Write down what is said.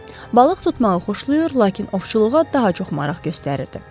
Balıq tutmağı xoşlayır, lakin ovçuluğa daha çox maraq göstərirdi.